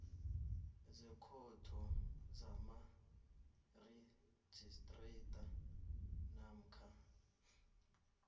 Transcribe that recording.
zekhotho kamarhistrada namkha